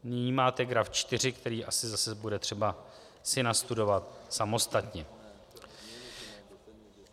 Nyní máte graf 4, který asi zase bude třeba si nastudovat samostatně.